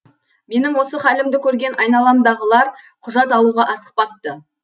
менің осы халімді көрген айналамдағылар құжат алуға асықпапты